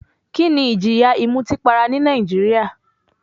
Kíni ìjìyà ìmutípara ní Nàìjíríà?